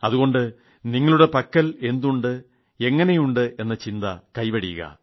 അതുകൊണ്ട് നിങ്ങളുടെ പക്കൽ എന്തുണ്ട് എങ്ങനെയുണ്ട് എന്ന ചിന്ത വെടിയുക